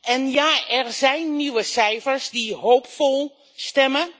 En ja, er zijn nieuwe cijfers die hoopvol stemmen,